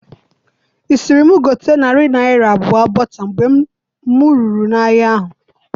I siri mụ gote narị naira abụọ bota mgbe mụ ruru n'ahia ahụ